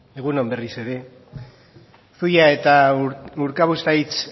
egun on berriz ere zuia eta urkabustaiz